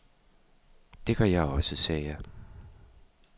Det gør jeg også, sagde jeg.